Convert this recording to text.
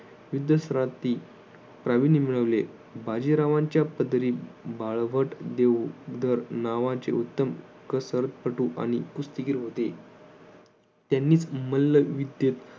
युद्ध प्राविण्य मिळवले बाजीरावांच्या पदरी बाळहट देऊ दार नावाचे उत्तम कसर कटू आणि कुस्तीगीर होते त्यांनीच मल्लविद्येत